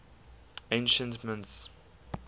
ancient mints